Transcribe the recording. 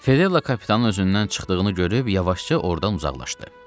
Fedella kapitanın özündən çıxdığını görüb yavaşca ordan uzaqlaşdı.